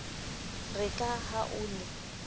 re ka ha o ne